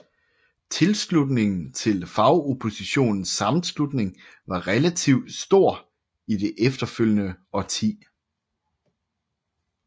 Tilslutningen til Fagoppositionens Sammenslutning var relativt stor i det efterfølgende årti